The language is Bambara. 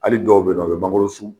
Hali dɔw be yen nɔ u be mangorosun